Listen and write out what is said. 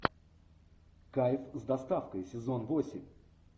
кайф с доставкой сезон восемь